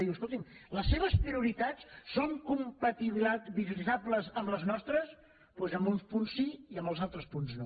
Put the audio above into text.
diu escolti’m les seves prioritats són compatibilitzables amb les nostres doncs en uns punts sí i en els altres punts no